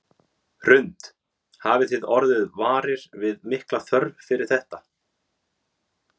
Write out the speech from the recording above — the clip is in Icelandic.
Hrund: Hafið þið orðið varir við mikla þörf fyrir þetta?